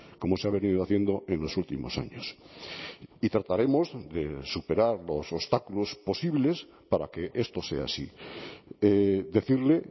como se ha venido haciendo en los últimos años y trataremos de superar los obstáculos posibles para que esto sea así decirle